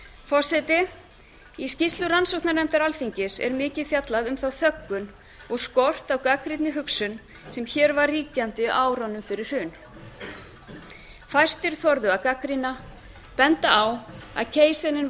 forseti í skýrslu rannsóknarnefndar alþingis er mikið fjallað um þá þöggun og skort á gagnrýnni hugsun sem hér var ríkjandi á árunum fyrir hrun fæstir þorðu að gagnrýna benda á að keisarinn